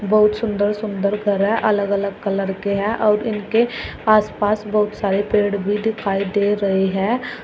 बहुत सुंदर सुंदर घर है अलग अलग कलर के हैं और उनके आस पास बहुत सारे पेड़ भी दिखाई दे रहे हैं।